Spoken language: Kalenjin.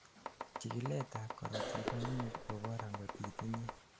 chikilet ab korotik koimuch kobor angot itinyei